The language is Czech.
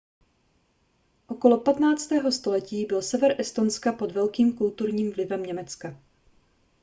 okolo 15. století byl sever estonska pod velkým kulturním vlivem německa